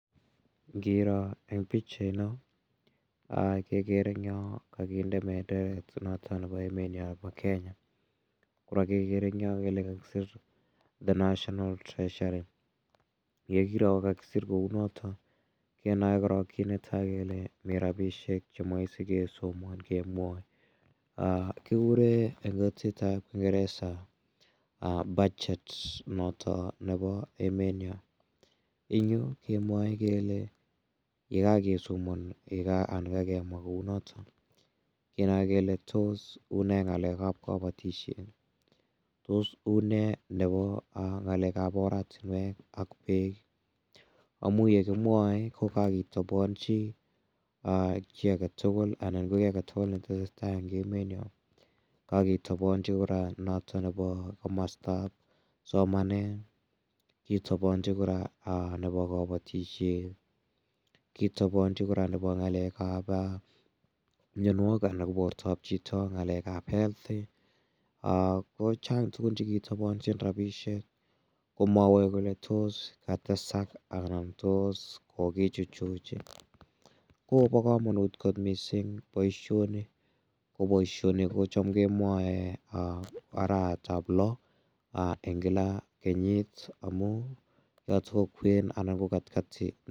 Ngiro eng' pikchaino kekere eng' yo kakinde benderet noto nebo emet nyo nebo Kenya kora kekere eng' yo kole kakisir The national treasury yekiro kokakisir kouu noto kenoei korok kiit netai kele mi rabishek cheome sikesomon kemwoi kikure eng' kutitab kingeresa budget noto nebo emet nyo ing' yu kemwoe kele ye kakesomon anan kakemwa kou noto kenoe kele tos uu ne ng'alekab kabotishet tos uu ne nebo ng'alekab oratinwek ak beek amu yekimwoei ko kakitobonchi kii age tugul anan ko kii age tugul netesei tai eng' emet nyo kakitobonchi kora noto nebo komostab somanet kitobonchi kora nebo kabotishet kitobonchi kora nebo ng'alekab miyonwokik anan ko bortoab chito ng'alekab health kochang' tugun chekitobonchin rabishek komwowech kole tos katesak anan tos kokichuchuch kobo komonut kot mising' boishoni ko boishoni kocham kemwoe arawetab loo eng' kila kenyit amu yoto ko kwen anab ko katikati